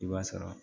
I b'a sara